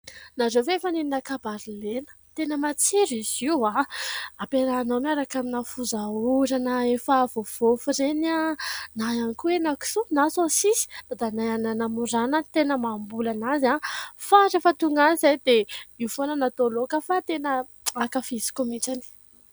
Nareo ve efa nihinana kabaro lena ? Tena matsiro izy io : ampiarahinao miaraka amin'ny foza orana efa voavofy reny, na ihany koa hena-kisoa, na sosisy. Dadanay any Namoro any no tena mamboly azy. Fa rehefa tonga any izahay dia io foana no atao loaka ; fa tena ankafiziko mihitsy.